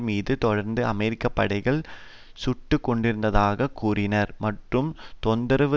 மீது தொடர்ந்து அமெரிக்க படைகள் சுட்டு கொண்டிருந்ததாக கூறினார் மற்றும் தொந்தரவு